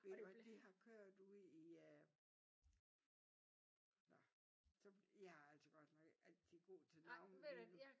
Og de har kørt ude i øh når så jeg er altså ikke altid god til navne